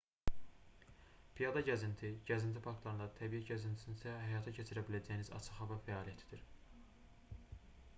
piyada gəzinti gəzinti parklarında təbiət gəzintisində həyata keçirə biləcəyiniz açıq hava fəaliyyətdir